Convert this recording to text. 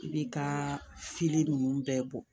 I bi ka fili ninnu bɛɛ bɔ